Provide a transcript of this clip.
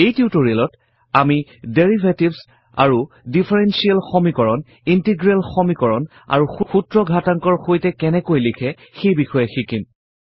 এই টিউটৰিয়েলত আমি ডেৰিভেটিভছ আৰু ডিফাৰেনশ্বিয়েল সমীকৰণ ইন্টিগ্ৰেল সমীকৰণ আৰু সূত্ৰ ঘাতাংকৰ সৈতে কেনেকৈ লিখে সেই বিষয়ে শিকিম